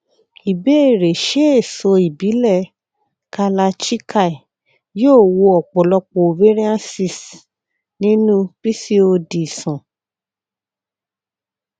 ìbéèrè ṣé èso ìbílẹ kalarchikai yóò wo ọpọlọpọ ovarian cysts nínú pcod sàn